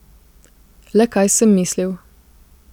Le kaj sem mislil?